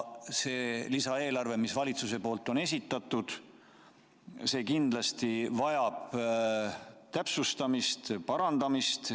See lisaeelarve, mille valitsus on esitatud, vajab kindlasti täpsustamist ja parandamist.